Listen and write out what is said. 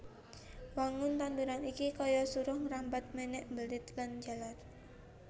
Wangun tanduran iki kaya suruh ngrambat mènèk mbelit lan njalar